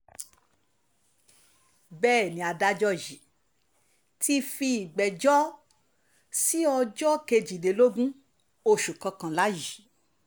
bẹ́ẹ̀ ni adájọ́ yìí ti fi ìgbẹ́jọ́ sí ọjọ́ kejìlélógún oṣù kọkànlá yìí